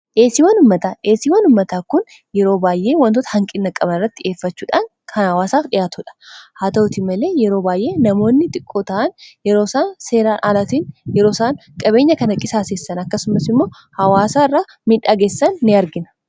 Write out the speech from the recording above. Dhiyeesiiwan ummataa dhiyeesiiwan ummataa kun yeroo baay'ee wantoota hanqinna qabaan irratti dheeffachuudhaan kan hawaasaa dhihaatudha haa ta'utii malee yeroo baayyee namoonni xiqqoo ta'an yeroo isaan seeraan aalatiin yeroo isaan qabeenya kana qisaseessan akkasumas immoo hawaasaa irra midhageessan ni arginaa.